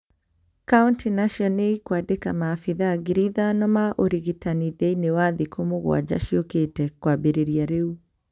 Kauntĩ nacio nĩikwandĩka maabitha ngiri ithano ma ũrigitani thĩini wa thiku mugwanja ciukite kwambĩrĩria rĩu